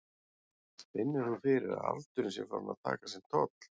Finnur þú fyrir að aldurinn sé farinn að taka sinn toll?